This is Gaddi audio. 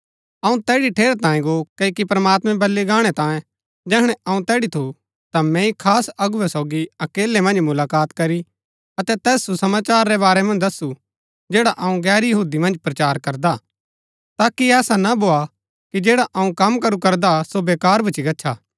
अऊँ तैड़ी ठेरैतांये गो क्ओकि प्रमात्मैं बल्लू गाणै तांये जैहणै अऊँ तैड़ी थू ता मैंई खास अगुवै सोगी अकेलै मन्ज मुलाकात करी अतै तैस सुसमाचार रै बारै मन्ज दस्सु जैड़ा अऊँ गैर यहूदी मन्ज प्रचार करदा हा ताकि ऐसा ना भोआ कि जैडा कम अऊँ करू करदा सो बेकार भुच्‍ची गच्छा